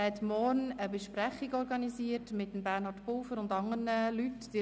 Er hatte für morgen eine Sitzung mit Regierungsrat Bernhard Pulver und anderen Personen organisiert.